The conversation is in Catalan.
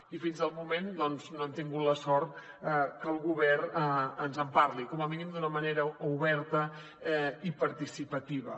i fins al moment doncs no hem tingut la sort que el govern ens en parli com a mínim d’una manera oberta i participativa